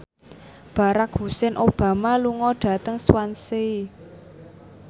Barack Hussein Obama lunga dhateng Swansea